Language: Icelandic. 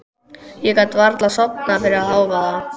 Ég gat varla sofnað fyrir hávaða.